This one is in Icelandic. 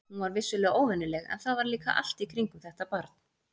Hún var vissulega óvenjuleg, en það var líka allt í kringum þetta barn.